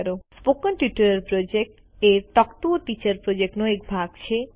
spoken tutorial project a talk to a teacher પ્રોજેક્ટનો એક ભાગ છે